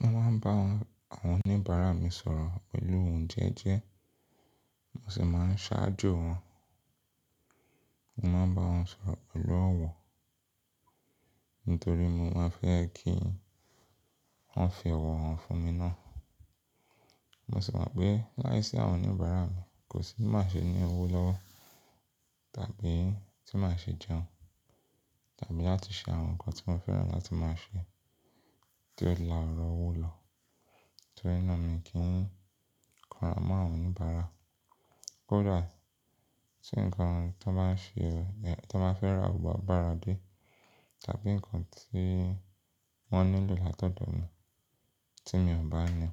Mo máa ń bá àwọn oníbàárà mi sọ̀rọ̀ pẹ̀lú òun jẹ́jẹ́, mo sì máa ń ṣáájo wọn. Mo máa ń bá wọn sọ̀rọ̀ pẹ̀lú ọ̀wọ̀, nítorí mo máa fẹ́ kí wọ́n fi ọ̀wọ̀ hàn fún mi ná. Mo sì mọ̀ pé láìsí àwọn oníbàárà mi kò sí má ṣe ní owó lọ́wọ́ tàbí tí màá ṣe jẹun tàbí láti ṣe àwọn nǹkan tí mo fẹ́ràn láti máa ṣe tí ó láà ọ̀rọ̀ owó lọ. Nítorí náà mi kí ń kanrá mọ́ àwọn oníbàárà. Kódà tí nǹkan tó máa ń ṣe, tó máa ń fẹ́ rà bọ̀ bá bàárà dé tàbí nǹkan tí wọ́n nílò látọ̀dọ̀ mi tí mi ò bá ní,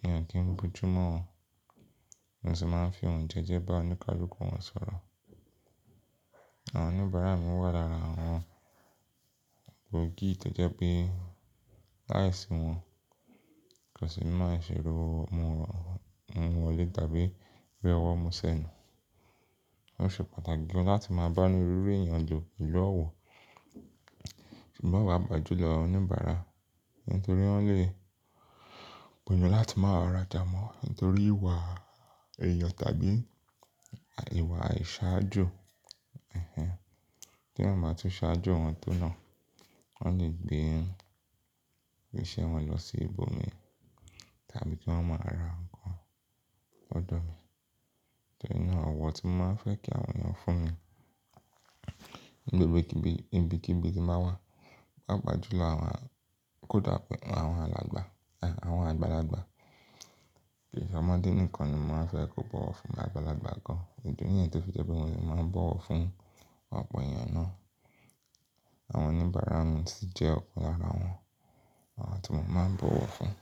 mi ò kí ń bújúmọ́ wọn. Mo sì máa ń fi ohun jẹ́jẹ́ bá oníkálukú wọn sọ̀rọ̀. Àwọn oníbàárà mi wà lára àwọn gbòógì tẹ́jẹ́́ pé láìsí wọn kò sì máa ṣe rówó muwọ́ mu wọlé tàbí ri ọwọ́ mu sẹ́nu. Ó ṣe pàtàkì gan láti máa bá ni rí rí èèyàn lo pẹ̀lú ọ̀wọ̀. Ṣùgbọ́n pàápàá julọ àwọn oníbàárà nítorí wọ́n lè gbìyànjú láti máa ra jámọ̀ nítorí ìwà èèyọ̀ tàbí ìwà àìṣáájú. Tí wọ́n bá tún ṣáájo wọn tó nà, wọ́n lè gbé iṣẹ́ wọn lọ sí ibòmí tàbí tí wọ́n máa ra nǹkan ọ̀dọ̀ mi. Nítorí náà ọ̀wọ̀ tí mo máa ń fẹ́ kí àwọn èèyàn fún mi ní gbogbo ibi kibibi tí màá wà, pàápàá jùlọ àwọn-- kódà pé àwọn alàgbà, ẹ́, àwọn àgbàlagbà. Kì í ṣe ọmọdé nìkan ni mo máa fẹ́ kó bọ̀wọ̀ fún àgbàlagbà gan-an. Ìdí nìyẹn tó fi jẹ́ pé mo sì máa ń bọ̀wọ̀ fún ọ̀pọ̀ èèyàn ná. Àwọn oníbàárà mi sì jẹ́ ọ̀pọ̀ lára àwọn àwọn tí mo máa ń bọ̀wọ̀ fún.